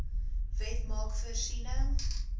wet maak voorsiening